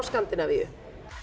Skandinavíu